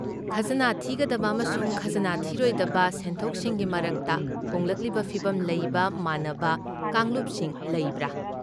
ꯈꯖꯅꯥ ꯊꯤꯒꯗꯕ ꯑꯃꯁꯨꯡ ꯈꯖꯅꯥ ꯊꯤꯔꯣꯏꯗꯕ ꯁꯦꯟꯊꯣꯛꯁꯤꯡꯒꯤ ꯃꯔꯛꯇ ꯍꯣꯡꯂꯛꯂꯤꯕ ꯐꯤꯕꯝ ꯂꯩꯕ ꯃꯥꯟꯅꯕ ꯀꯥꯡꯂꯨꯞꯁꯤꯡ ꯂꯩꯕ꯭ꯔꯥ?